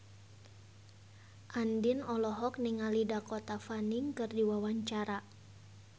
Andien olohok ningali Dakota Fanning keur diwawancara